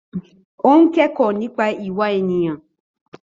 Ó ń kẹ́kọ̀ọ́ nípa ìwà ènìyàn.